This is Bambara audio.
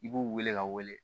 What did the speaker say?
I b'u wele ka wele